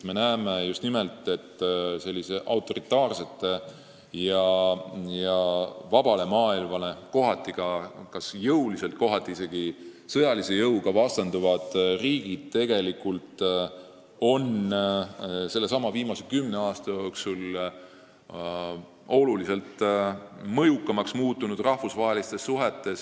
Me näeme tegelikult seda, et autoritaarsed ja vabale maailmale jõuliselt – kohati isegi sõjalise jõuga – vastanduvad riigid on viimase kümne aasta jooksul rahvusvahelistes suhetes oluliselt mõjukamaks muutunud.